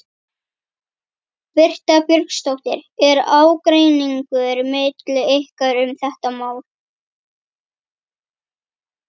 Birta Björnsdóttir: Er ágreiningur milli ykkar um þetta mál?